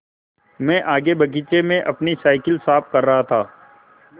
मैं आगे बगीचे में अपनी साईकिल साफ़ कर रहा था